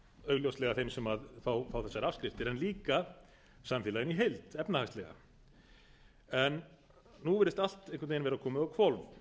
augljóslega þeim sem fá þessar afskriftir en líka samfélaginu í heild efnahagslega nú virðist allt einhvern veginn vera komið á